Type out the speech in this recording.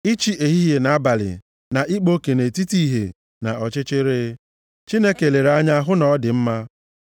ịchị ehihie na abalị na ịkpa oke nʼetiti ìhè na ọchịchịrị. Chineke lere anya hụ na ọ dị mma.